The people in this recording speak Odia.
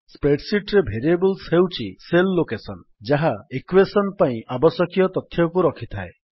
Spreadsheetରେ ଭେରିଏବଲ୍ସ ହେଉଛି ସେଲ୍ ଲୋକେଶନ୍ ଯାହା ଇକ୍ୱେଶନ୍ ପାଇଁ ଆବଶ୍ୟକୀୟ ତଥ୍ୟକୁ ରଖିଥାଏ